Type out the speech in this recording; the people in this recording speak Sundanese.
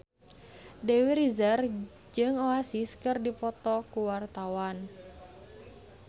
Dewi Rezer jeung Oasis keur dipoto ku wartawan